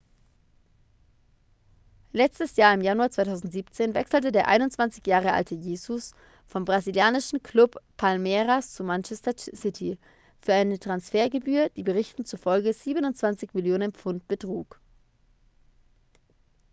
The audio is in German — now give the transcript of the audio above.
letztes jahr im januar 2017 wechselte der 21 jahre alte jesus vom brasilianischen club palmeiras zu manchester city für eine transfergebühr die berichten zufolge 27 millionen pfund betrug